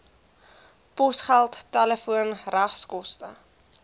posgeld telefoon regskoste